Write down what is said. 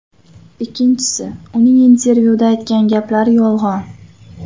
Ikkinchisi, uning intervyuda aytgan gaplari yolg‘on.